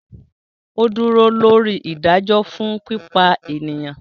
O dúró lóri ìdájọ fún pípa eniyan